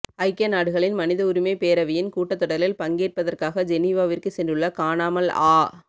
ஐக்கிய நாடுகளின் மனித உரிமை பேரவையின் கூட்டத்தொடரில் பங்கெற்பதற்காக ஜெனீவாவிற்கு சென்றுள்ள காணாமல் ஆ